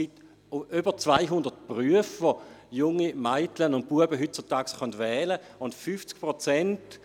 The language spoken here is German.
Es gibt über 200 Berufe, die junge Mädchen und Buben heutzutage wählen können.